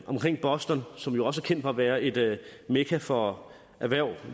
omkring boston som jo også er kendt for at være et mekka for erhverv